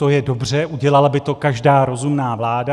To je dobře, udělala by to každá rozumná vláda.